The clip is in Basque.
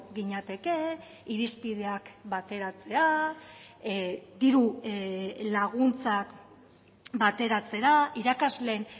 ginateke irizpideak bateratzea diru laguntzak bateratzera irakasleen